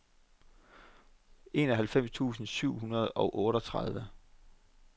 enoghalvfems tusind syv hundrede og otteogtredive